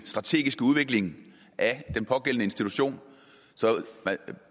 strategiske udvikling af den pågældende institution så